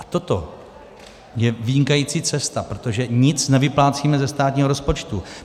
A toto je vynikající cesta, protože nic nevyplácíme ze státního rozpočtu.